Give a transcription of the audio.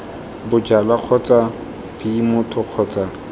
bojalwa kgotsa b motho kgotsa